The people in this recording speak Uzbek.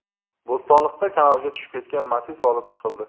Bo‘stonliqda kanalga tushib ketgan Matiz olib chiqildi.